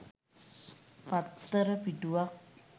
පත්තර පිටුවක්